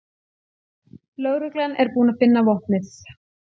Lögreglan er búin að finna vopnið